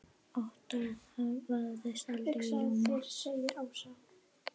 Ottó vafðist aldrei í ljóma.